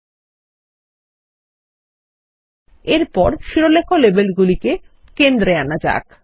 ল্টপাউসেগ্ট এরপরশিরোলেখ লেবেলগুলিকেকেন্দ্রে আনা যাক